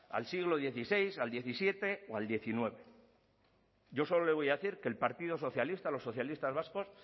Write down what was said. al siglo dieciséis al diecisiete o al diecinueve yo solo le voy a decir que el partido socialista los socialistas vascos